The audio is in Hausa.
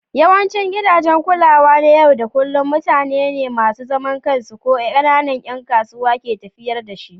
Yawancin gidajen kulawa na yau da kullun mutane ne masu zaman kansu ko ƙananan 'yan kasuwa ke tafiyar da su